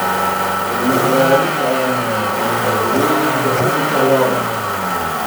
Cilmi baaris ayaa muujisay faa'iidooyinka hilibka lo'da.